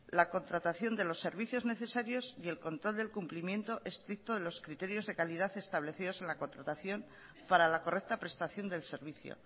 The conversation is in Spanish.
la contratación de los servicios necesarios y el control del cumplimiento estricto de los criterios de calidad establecidos en la contratación para la correcta prestación del servicio